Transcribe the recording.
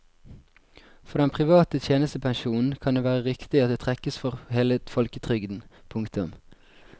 For den private tjenestepensjonen kan det være riktig at det trekkes for hele folketrygden. punktum